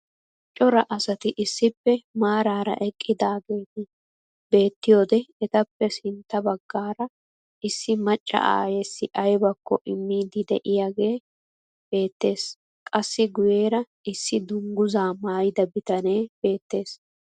Cora asati issippe maarara eqqidaageti beettiyoode etappe sintta baggaara issi macca ayyessi aybakko imiidi de'iyoogee beettees. qassi guyeera issi dungguzaa maayida bitanee beettees.